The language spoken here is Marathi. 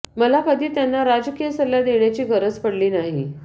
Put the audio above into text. मला कधी त्यांना राजकीय सल्ला देण्याची गरज पडली नाही